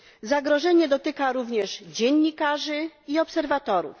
Zagrożenie dotyka również dziennikarzy i obserwatorów.